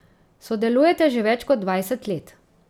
Sodelujeta že več kot dvajset let.